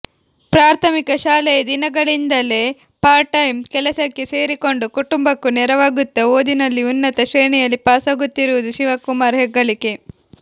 ಪ್ರಾಥಮಿಕ ಶಾಲೆಯ ದಿನಗಳಿಂದಲೇ ಪಾರ್ಟ್ ಟೈಮ್ ಕೆಲಸಕ್ಕೆ ಸೇರಿಕೊಂಡು ಕುಟುಂಬಕ್ಕೂ ನೆರವಾಗುತ್ತ ಓದಿನಲ್ಲಿ ಉನ್ನತ ಶ್ರೇಣಿಯಲ್ಲಿ ಪಾಸಾಗುತ್ತಿರುವುದು ಶಿವಕುಮಾರ್ ಹೆಗ್ಗಳಿಕೆ